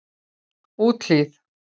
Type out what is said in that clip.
Úthlíð